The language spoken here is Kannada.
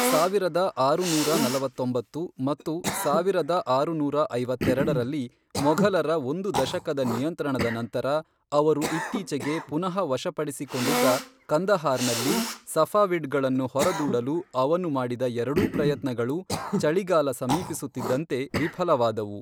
ಸಾವಿರದ ಆರುನೂರ ನಲವತ್ತೊಂಬತ್ತು ಮತ್ತು ಸಾವಿರದ ಆರುನೂರ ಐವತ್ತರೆಡರಲ್ಲಿ, ಮೊಘಲರ ಒಂದು ದಶಕದ ನಿಯಂತ್ರಣದ ನಂತರ ಅವರು ಇತ್ತೀಚೆಗೆ ಪುನಃ ವಶಪಡಿಸಿಕೊಂಡಿದ್ದ ಕಂದಹಾರ್ ನಲ್ಲಿ ಸಫಾವಿಡ್ ಗಳನ್ನು ಹೊರದೂಡಲು ಅವನು ಮಾಡಿದ ಎರಡೂ ಪ್ರಯತ್ನಗಳು ಚಳಿಗಾಲ ಸಮೀಪಿಸುತ್ತಿದ್ದಂತೆ ವಿಫಲವಾದವು.